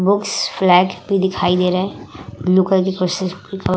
Books flag भी दिखाई दे रहे। --